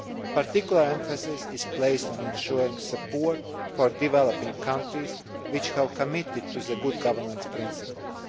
Particular emphasis is placed on ensuring support for developing countries which have committed to the good governance principles.